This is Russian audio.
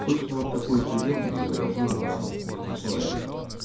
собственно вот такой приём и изображён на этом слайде